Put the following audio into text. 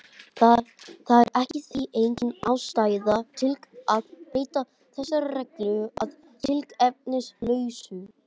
Það er því engin ástæða til að breyta þessari reglu að tilefnislausu.